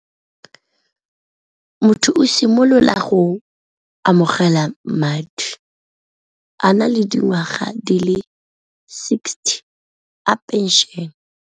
Motho simolola go amogela madi a na le dingwaga di le sixty a pension.